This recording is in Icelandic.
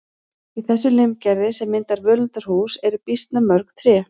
Í þessu limgerði sem myndar völundarhús eru býsna mörg tré.